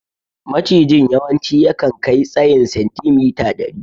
Macijin yawanci yakan kai tsayin sentimita dari.